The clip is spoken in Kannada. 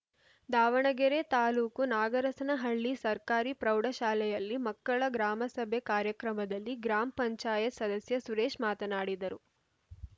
ದಾವಣಗೆರೆ ತಾಲೂಕು ನಾಗರಸನಹಳ್ಳಿ ಸರ್ಕಾರಿ ಪ್ರೌಢಶಾಲೆಯಲ್ಲಿ ಮಕ್ಕಳ ಗ್ರಾಮಸಭೆ ಕಾರ್ಯಕ್ರಮದಲ್ಲಿ ಗ್ರಾಮ ಪಂಚಾಯತ್ ಸದಸ್ಯ ಸುರೇಶ ಮಾತನಾಡಿದರು